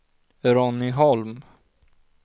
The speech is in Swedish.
Ronny Holm